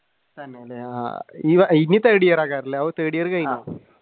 തന്നെയല്ലേ ആഹ് ഇനി third year